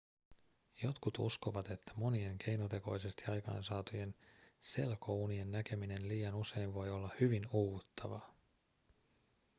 jotkut uskovat että monien keinotekoisesti aikaansaatujen selkounien näkeminen liian usein voi olla hyvin uuvuttavaa